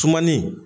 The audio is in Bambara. Sumani